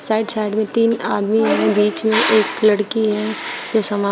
side side में तीन आदमी है बीच में एक लड़की है जो सामान--